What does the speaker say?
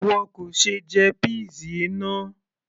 ìwọ kò ṣe jẹ peas yìí náà